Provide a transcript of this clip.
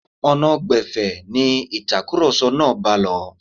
Ọ̀nà gbẹ̀fẹ̀ ni ìtakùrọ̀sọ náà bá lọ.